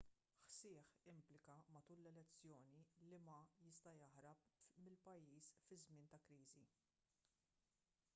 hsieh implika matul l-elezzjoni li ma jista' jaħrab mill-pajjiż fi żmien ta' kriżi